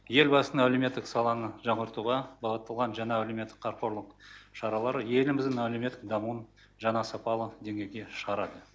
елбасының әлеуметтік саланы жаңғыртуға бағытталған жаңа әлеуметтік қамқорлық шаралар еліміздің әлеуметтік дамуын жаңа сапалы деңгейге шығарады